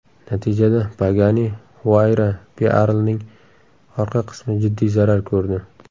Natijada Pagani Huayra Pearl’ning orqa qismi jiddiy zarar ko‘rdi.